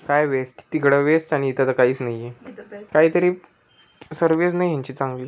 काय वेस्ट तिकडं वेस्ट आणि इथ तर काहीच नाहीये. काहीतरी सर्विस नाही ह्यांची चांगली--